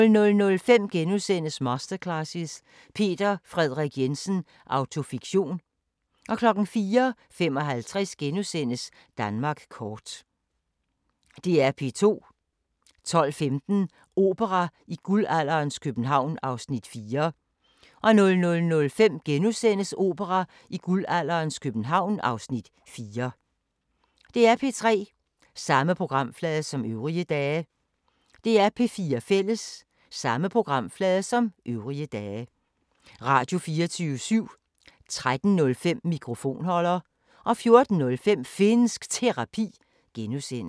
05:10: Vagn på floden (6:11) 05:50: Ude i naturen: Den store Tippertur 06:15: Kongerigets kager (9:12) 07:30: Guld i købstæderne - Holbæk (6:10)* 08:30: Spise med Price egnsretter II (3:6)* 09:00: En ny begyndelse II (Afs. 4) 09:45: Downton Abbey V (9:10)* 10:30: Antikkrejlerne (Afs. 1) 11:00: Antikkrejlerne med kendisser 12:00: Bonderøven 2013 (Afs. 9)